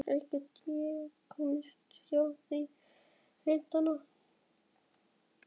Kannski get ég komist hjá því að hitta hann.